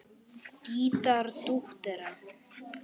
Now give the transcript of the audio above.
Gítar dúettar